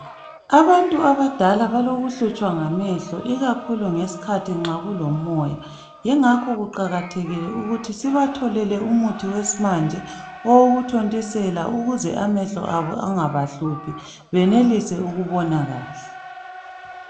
Abantu abadala balokuhlutshwa ngamehlo ikakhulu ngesikhathi nxa kulomoya yingakho kuqakathekile ukuthi sibatholele umuthi wesimanje owokuthontisela ukuze amehlo abo angahluphi benelise ukubona kahle